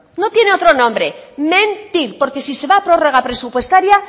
no tiene otro nombre mentir porque si se va a prórroga presupuestaria